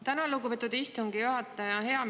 Tänan, lugupeetud istungi juhataja!